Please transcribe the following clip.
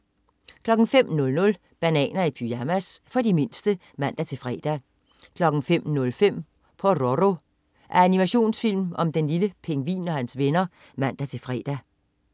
05.00 Bananer i pyjamas. For de mindste (man-fre) 05.05 Pororo. Animationsfilm om en lille pingvin og hans venner (man-fre)